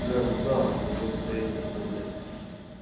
бля ну да вот такое состояние это блять